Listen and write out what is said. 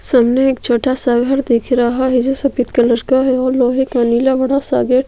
सामने एक छोटा- सा घर दिख रहा है जो सफ़ेद कलर का है और लोहे का नीला बड़ा- सा गेट --